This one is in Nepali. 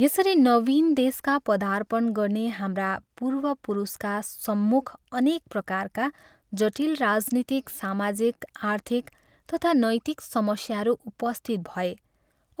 यसरी नवीन देशका पदार्पण गर्ने हाम्रा पूर्वपुरुषका सम्मुख अनेक प्रकारका जटिल राजनीतिक, सामाजिक, आर्थिक तथा नैतिक समस्याहरू उपस्थित भए